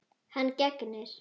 Hann gegnir.